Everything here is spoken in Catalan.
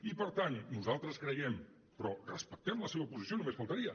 i per tant nosaltres creiem però respectem la seva posició només faltaria